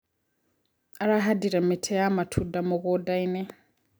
Arahandire mĩtĩ ya matunda mũgundainĩ.